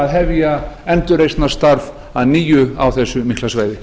hefja endurreisnarstarf að nýju á þessu mikla svæði